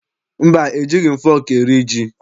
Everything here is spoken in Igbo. Mba, ejighị m fọọkụ eri ji.